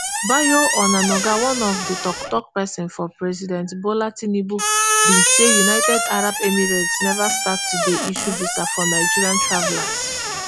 bayo onanuga one of di tok tok pesin for president bola tinubu bin say united arab emirates neva start to dey issue visa for nigeria travellers